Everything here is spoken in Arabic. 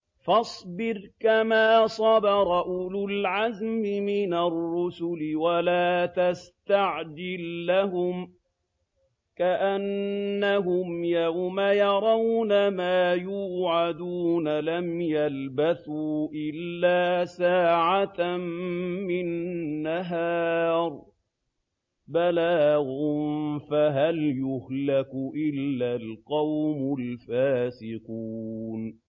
فَاصْبِرْ كَمَا صَبَرَ أُولُو الْعَزْمِ مِنَ الرُّسُلِ وَلَا تَسْتَعْجِل لَّهُمْ ۚ كَأَنَّهُمْ يَوْمَ يَرَوْنَ مَا يُوعَدُونَ لَمْ يَلْبَثُوا إِلَّا سَاعَةً مِّن نَّهَارٍ ۚ بَلَاغٌ ۚ فَهَلْ يُهْلَكُ إِلَّا الْقَوْمُ الْفَاسِقُونَ